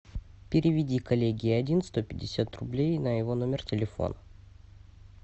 переведи коллеге один сто пятьдесят рублей на его номер телефона